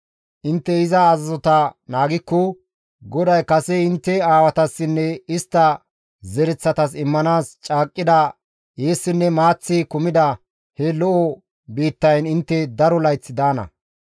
Intte iza azazota naagikko GODAY kase intte aawatassinne istta zereththatas immanaas caaqqida eessinne maaththi kumida he lo7o biittayn intte daro layth daana.